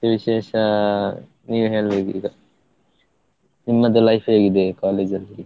ವಿಶೇಷ ನೀನೇ ಹೇಳ್ಬೇಕು ಈಗ, ನಿಮ್ಮದು life ಹೇಗಿದೆ college ಅಲ್ಲಿ?